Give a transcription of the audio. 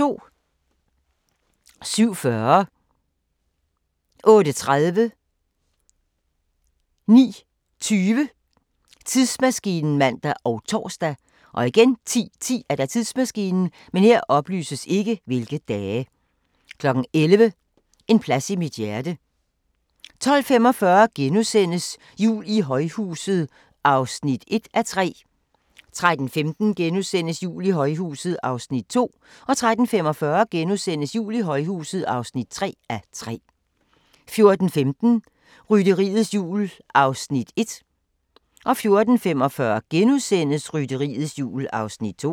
07:40: Tidsmaskinen (man og tor) 08:30: Tidsmaskinen (man og tor) 09:20: Tidsmaskinen (man og tor) 10:10: Tidsmaskinen 11:00: En plads i mit hjerte 12:45: Jul i højhuset (1:3)* 13:15: Jul i højhuset (2:3)* 13:45: Jul i højhuset (3:3)* 14:15: Rytteriets Jul (1:4) 14:45: Rytteriets Jul (2:4)*